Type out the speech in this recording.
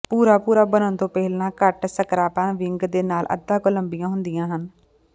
ਭੂਰਾ ਭੂਰਾ ਬਣਨ ਤੋਂ ਪਹਿਲਾਂ ਘੱਟ ਸਕਾਰਪਾਂ ਵਿੰਗ ਦੇ ਨਾਲ ਅੱਧਾ ਕੁ ਲੰਬੀਆਂ ਹੁੰਦੀਆਂ ਹਨ